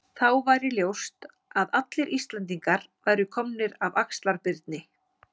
Þá væri ljóst að allir Íslendingar væru komnir af Axlar-Birni.